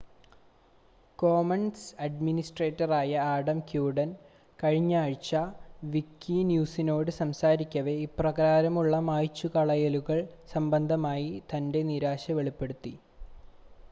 Commons അഡ്മിനിസ്ട്രേറ്ററായ Adam Cuerden കഴിഞ്ഞാഴ്ച വിക്കിന്യൂസിനോട് സംസാരിക്കവെ ഇപ്രകാരമുള്ള മായ്ചുകളയലുകൾ സംബന്ധമായി തൻ്റെ നിരാശ വെളിപ്പെടുത്തി